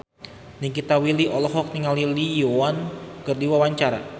Nikita Willy olohok ningali Lee Yo Won keur diwawancara